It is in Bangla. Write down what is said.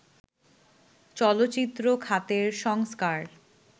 চলচ্চিত্র খাতের সংস্কার